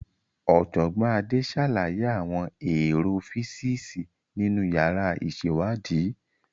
Ọ̀jọ̀gbọ́n Ade ṣàlàyé àwọn èrò físíìsì nínú yàrá ìṣèwádìí.